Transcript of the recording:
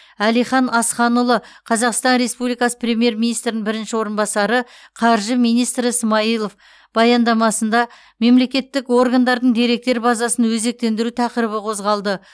әлихан асханұлы қазақстан республикасы премьер министрінің бірінші орынбасары қаржы министрі смайылов баяндамасында мемлекеттік органдардың деректер базасын өзектендіру тақырыбы қозғалды